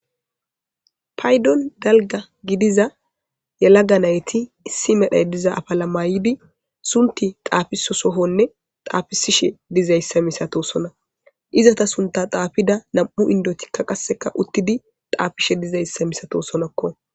Paydon dalga gidiza yalaga nayti issi medhay diza afalamaydi sunti xaafiso sohonne xaafisishe dizayssa misato sona izata sunta xaafida nam'u indotikka qasseka uttidi xaafishe dizayssa misato sonakko.